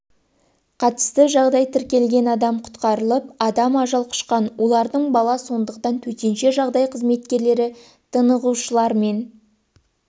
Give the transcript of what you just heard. қатысты жағдай тіркелген адам құтқарылып адам ажал құшқан олардың бала сондықтан төтенше жағдай қызметкерлері тынығушылармен